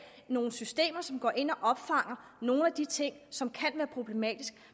nogle systemer som går ind og opfanger nogle af de ting som kan være problematiske